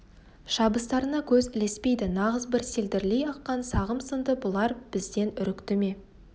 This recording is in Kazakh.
шабыстарына көз ілеспейді нағыз бір селдірлей аққан сағым-сынды бұлар бізден үрікті ме